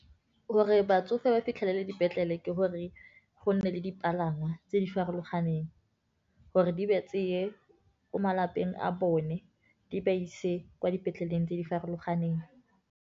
Gore batsofe ba fitlhelele dipetlele, ke gore go nne le dipalangwa tse di farologaneng. Gore di ba tseye ko malapeng a bone, di ba ise kwa dipetleleng tse di farologaneng.